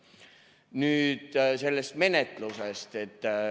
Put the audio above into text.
Nüüd sellest menetlusest.